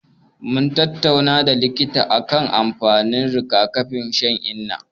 Mun tattauna da likita akan amfanin riga-kafin shan inna.